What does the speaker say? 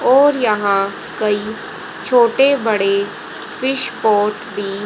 और यहां कई छोटे बड़े फिश पॉट भी--